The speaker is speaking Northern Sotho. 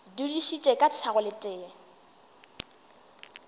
dudišitše ka šago le tee